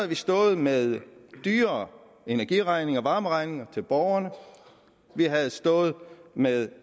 vi stået med højere energiregninger varmeregninger til borgerne vi havde stået med